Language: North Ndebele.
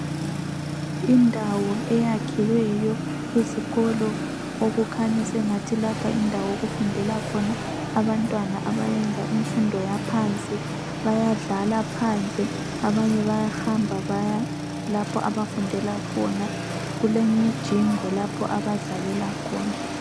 Indawo eyakhiweyo ezikolo okukhanya sengathi lapha yindawo okufundela khona abantwana abayenza imfundo yaphansi. Bayadla phandle abanye bayahamba bayalapho abafundela khona, kulemijingo lapho abadlalela khona.